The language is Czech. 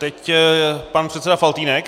Teď pan předseda Faltýnek.